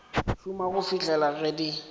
šoma go fihlela ge di